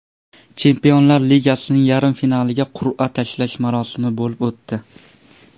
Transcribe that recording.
Chempionlar ligasining yarim finaliga qur’a tashlash marosimi bo‘lib o‘tdi.